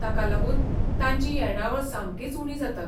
ताका लागून तांची येणावळ सामकीच उणी जाता.